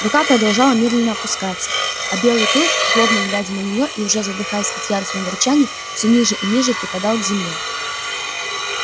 рука продолжала медленно опускаться а белый клык злобно глядя на неё и уже задыхаясь от яростного рычания всё ниже и ниже припадал к земле